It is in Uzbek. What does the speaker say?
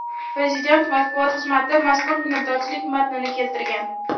Prezident matbuot xizmati mazkur minnatdorchilik matnini keltirgan .